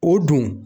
O dun